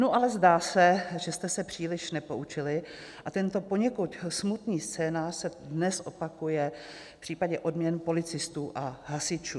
Nu ale zdá se, že jste se příliš nepoučili, a tento poněkud smutný scénář se dnes opakuje v případě odměn policistů a hasičů.